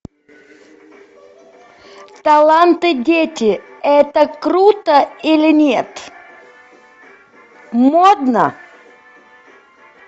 таланты дети это круто или нет модно